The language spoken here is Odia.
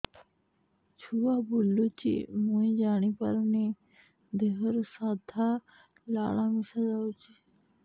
ଛୁଆ ବୁଲୁଚି ମୁଇ ଜାଣିପାରୁନି ଦେହରୁ ସାଧା ଲାଳ ମିଶା ଯାଉଚି